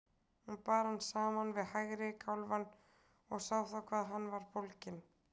Hún bar hann saman við hægri kálfann og sá þá hvað hann var bólginn.